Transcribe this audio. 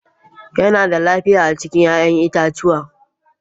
Yana da lafiya a ci 'ya'yan itatuwa